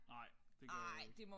Nej det gør jeg ikke